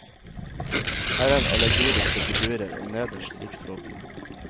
Her er allegoriske figurer, og nederst riksvåpenet.